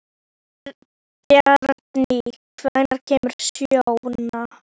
Bjarný, hvenær kemur sjöan?